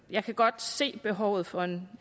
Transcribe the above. jeg kan godt se behovet for en